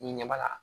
N'i ɲɛ b'a la